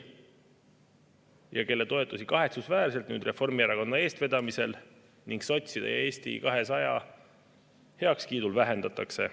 Nüüd neid toetusi kahetsusväärselt Reformierakonna eestvedamisel ning sotside ja Eesti 200 heakskiidul vähendatakse.